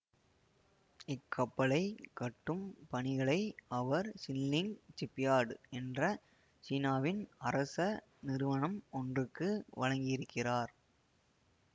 இக்கப்பலைக் கட்டும் பணிகளை அவர் சின்லிங் சிப்யார்டு என்ற சீனாவின் அரச நிறுவனம் ஒன்றுக்கு வழங்கியிருக்கிறார்